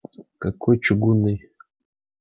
какой чугунный